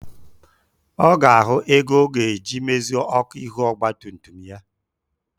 Ọ ga-ahụ ego ọ ga-eji mezie ọkụ ihu ọgba tum tum ya.